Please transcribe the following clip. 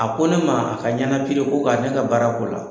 A ko ne ma a ka ɲanakiri ko k'a ne ka baara k'o la.